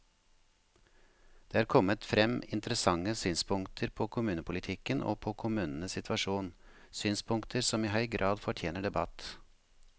Det er kommet frem interessante synspunkter på kommunepolitikken og på kommunenes situasjon, synspunkter som i høy grad fortjener debatt.